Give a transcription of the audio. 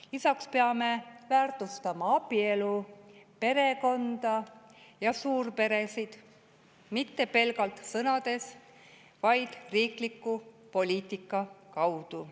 Lisaks peame väärtustama abielu, perekonda ja suurperesid, ja mitte pelgalt sõnades, vaid riikliku poliitika kaudu.